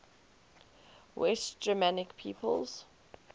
west germanic peoples